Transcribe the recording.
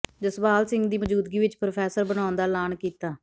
ਜਸਪਾਲ ਸਿੰਘ ਦੀ ਮੌਜੂਦਗੀ ਵਿਚ ਪ੍ਰੋਫੈਸਰ ਬਣਾਉਣ ਦਾ ਐਲਾਨ ਕੀਤਾ